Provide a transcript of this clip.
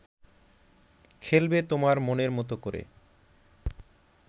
খেলবে তোমার মনের মতো করে